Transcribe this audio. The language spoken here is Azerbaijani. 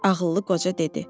Ağıllı qoca dedi.